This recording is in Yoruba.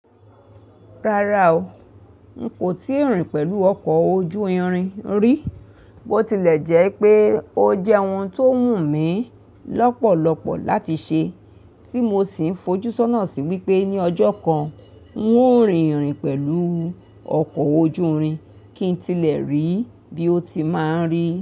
Rárá o, n kò ti rìn pẹ̀lú ọkọ̀ ojú irin rí, bó tilẹ̀ jẹ́ pé ó jẹ́ ohun tó wù mí lọ́pọ̀lọpọ̀ láti ṣe, tí mo sì ń fojúsọ́nà sí wípé ní ọjọ́ kan n ó rìn ìrìn pẹ̀lú ọkọ̀ ojú irin, kí n tilẹ̀ rí bí ó ti máa ń rí.